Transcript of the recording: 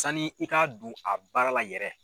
Sani i k'a don a baara la yɛrɛ.